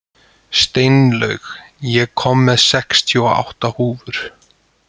Steinlaug, ég kom með sextíu og átta húfur!